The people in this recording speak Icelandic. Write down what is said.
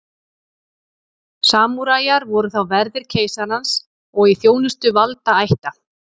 Samúræjar voru þá verðir keisarans og í þjónustu valdaætta.